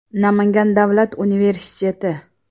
Namangan davlat universiteti.